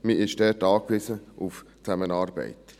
Man ist dort angewiesen auf die Zusammenarbeit.